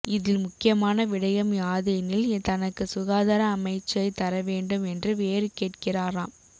இதில் முக்கியமான விடயம் யாதெனில் தனக்கு சுகாதார அமைச்சை தரவேண்டும் என்று வேறு கேட்கிறாராம்